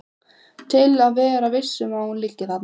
Til að vera viss um að hún liggi þarna.